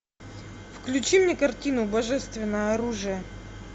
включи мне картину божественное оружие